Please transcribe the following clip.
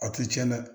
A tɛ cɛn dɛ